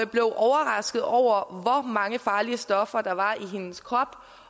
blev overrasket over hvor mange farlige stoffer der var i hendes krop